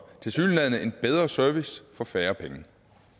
tilsyneladende en bedre service for færre penge